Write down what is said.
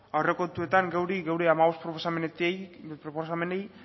aurrekontuetan gure hamabost proposamenetik